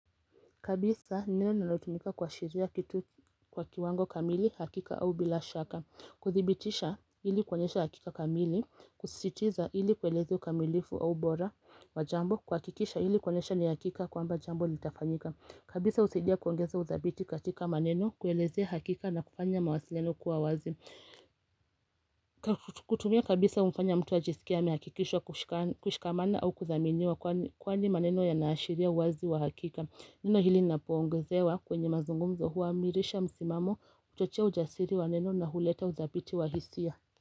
Kabisa neno linalotumika kuashiria kitu kwa kiwango kamili hakika au bila shaka. Kuthibitisha ili kuonyesha hakika kamili, kusisitiza ili kueleza ukamilifu au bora wa jambo, kuhakikisha ili kuonyesha ni hakika kwamba jambo litafanyika. Kabisa husidia kuongeza udhabiti katika maneno kuelezea hakika na kufanya mawasiliano kuwa wazi. Kutumia kabisa humfanya mtu wa ajisikie amehakikishwa kushikamana au kuthaminiwa kwani maneno yanaashiria uwazi wa hakika. Neno hili linapoongezewa kwenye mazungumzo huamirisha msimamo kuchochea ujasiri wa neno na huleta udhabiti wa hisia.